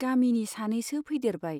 गामिनि सानैसो फैदेरबाय।